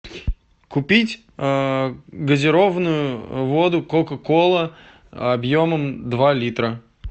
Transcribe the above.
купить а газированную воду кока кола объемом два литра